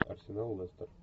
арсенал лестер